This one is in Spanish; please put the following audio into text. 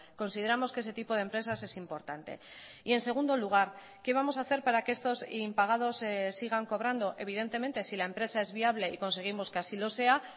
consideramos que ese tipo de empresas es importante y en segundo lugar qué vamos a hacer para que estos impagados sigan cobrando evidentemente si la empresa es viable y conseguimos que así lo sea